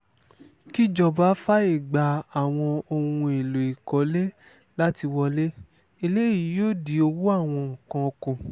kíjọba fààyè gba àwọn ohun èèlò ìkọ́lé láti wọlé eléyìí yóò dín owó àwọn nǹkan kù